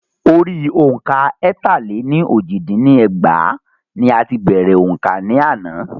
Orí òǹkà ẹ̀ta-lé-ní-ojì dín ní ẹgbàá ní a ti bèrè òǹkà ni ana.